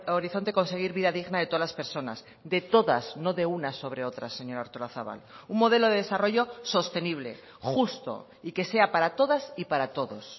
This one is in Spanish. horizonte conseguir vida digna de todas las personas de todas no de unas sobre otras señora artolazabal un modelo de desarrollo sostenible justo y que sea para todas y para todos